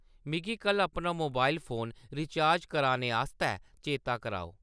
मिगी कल्ल अपना मोबाइल फोन रिचार्ज कराने आस्तै चेता कराओ।